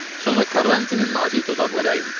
Sonra Quaranti-nin nazik dodaqları əyildi.